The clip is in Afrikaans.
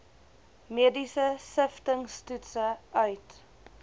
mediese siftingstoetse uit